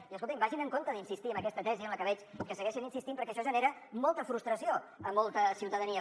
i escoltin vagin amb compte d’insistir en aquesta tesi en la que veig que segueixen insistint perquè això genera molta frustració a molta ciutadania